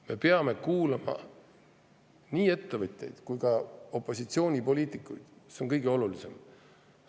Me peame kuulama nii ettevõtjaid kui ka opositsioonipoliitikuid, see on kõige olulisem.